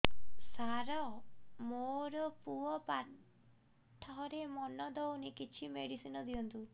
ସାର ମୋର ପୁଅ ପାଠରେ ମନ ଦଉନି କିଛି ମେଡିସିନ ଦିଅନ୍ତୁ